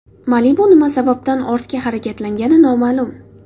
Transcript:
Malibu nima sababdan ortga harakatlangani noma’lum.